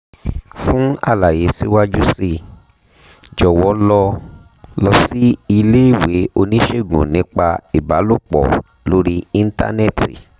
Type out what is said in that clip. fún àlàyé síwájú sí i jọ̀wọ́ lọ lọ sí iléèwé oníṣègùn nípa ìbálòpọ̀ lórí íńtánẹ́ẹ̀tì